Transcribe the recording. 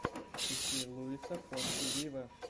ищи луиса фонси виво